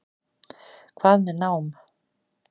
Hvað með nám?